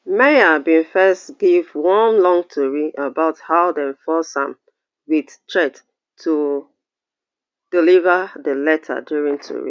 meher bin first give one long tori about how dem force am wit threat to deliver di letter during tori